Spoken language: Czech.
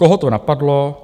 Koho to napadlo?